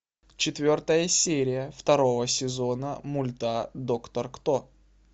четвертая серия второго сезона мульта доктор кто